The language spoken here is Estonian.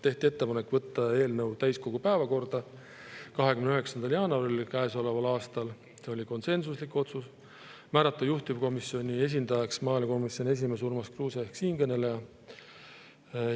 Tehti ettepanek võtta eelnõu täiskogu päevakorda 29. jaanuaril käesoleval aastal, see oli konsensuslik otsus, ning määrata juhtivkomisjoni esindajaks maaelukomisjoni esimees Urmas Kruuse ehk siinkõneleja.